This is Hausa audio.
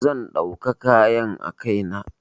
Zan ɗauka kayan a kai na.